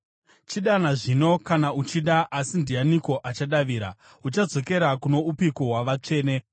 “Chidana zvino kana uchida, asi ndianiko achadavira? Uchadzokera kuno upiko wavatsvene?